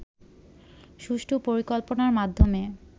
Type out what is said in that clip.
সুষ্ঠু পরিকল্পনার মাধ্যমে